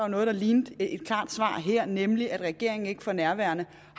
noget der lignede et klart svar her nemlig at regeringen ikke for nærværende